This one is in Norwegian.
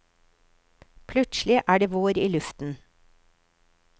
Plutselig er det vår i luften.